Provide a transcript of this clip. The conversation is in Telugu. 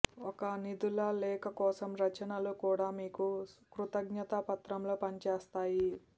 ఒక నిధుల లేఖ కోసం రచనలు కూడా మీకు కృతజ్ఞతా పత్రంలో పనిచేస్తాయి